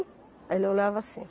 Aí ele olhava assim.